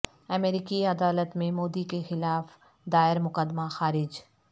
امریکی عدالت میں مودی کے خلاف دائر مقدمہ خارج